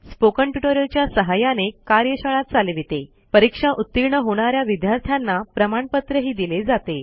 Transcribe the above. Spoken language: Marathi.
Spoken ट्युटोरियल च्या सहाय्याने कार्यशाळा चालवितेपरीक्षा उतीर्ण होणा या विद्यार्थ्यांना प्रमाणपत्रही दिले जाते